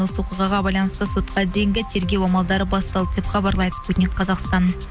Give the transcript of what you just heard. осы оқиғаға байланысты сотқа дейінгі тергеу амалдары басталды деп хабарлайды спутник қазақстан